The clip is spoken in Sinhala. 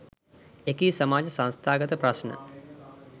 එකී සමාජ සංස්ථාගත ප්‍රශ්න